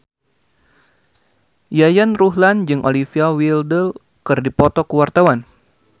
Yayan Ruhlan jeung Olivia Wilde keur dipoto ku wartawan